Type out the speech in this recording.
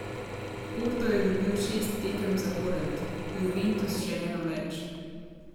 Porto je dobil šest tekem zapored, Juventus še eno več.